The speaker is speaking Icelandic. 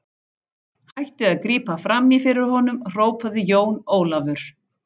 Hættið að grípa framí fyrir honum, hrópaði Jón Ólafur.